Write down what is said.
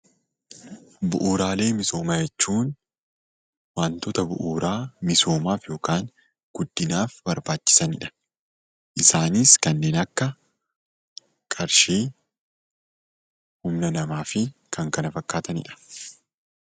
Bu'uuraalee misoomaa jechuun wantoota bu'uuraa misoomaaf yookaan guddinaaf barbaachisanidha. Isaanis kanneen akka qarshii, humna namaa fi kan kana fakkaatanidha.